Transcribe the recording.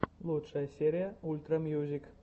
лучшая серия ультра мьюзик